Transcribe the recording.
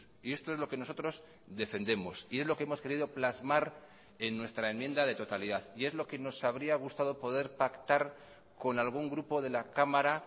y esto es lo que nosotros defendemos y es lo que hemos querido plasmar en nuestra enmienda de totalidad y es lo que nos habría gustado poder pactar con algún grupo de la cámara